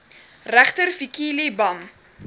regter fikile bam